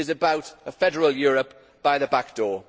It is about a federal Europe by the back door.